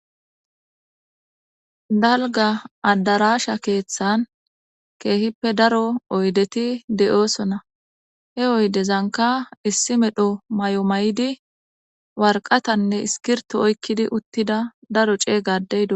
Dalgga addaraasha keeththan keehippe daro oydethi de7oosona;he oydezankka issi medho mayo mayidi warqathanne iskirththo oykkidi uththida daro ceega addee dos.